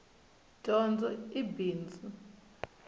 dyondzo i bindzu